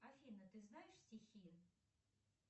афина ты знаешь стихи